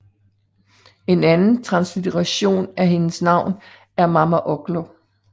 En anden translitteration er hendes navn er Mama Ogllo